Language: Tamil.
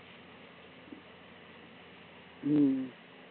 ஹம்